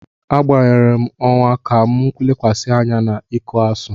M gbanwere ọwa ka m lekwasị anya na iku Asuu.